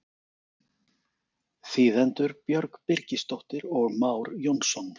Þýðendur Björg Birgisdóttir og Már Jónsson.